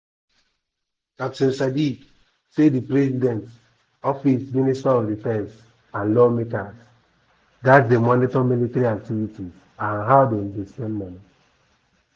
"di goment need to carry security um experts join especially retired officers wey sabi um di work to help solve di security problem" e tok.